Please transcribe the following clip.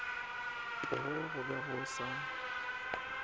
poo go be go sa